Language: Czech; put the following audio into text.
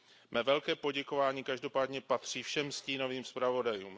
Mé velké poděkování každopádně patří všem stínovým zpravodajům.